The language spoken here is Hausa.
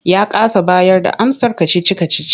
Ya kasa bayarda amsar kacici-kacicin.